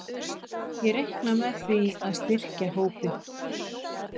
Ég reikna með því að styrkja hópinn.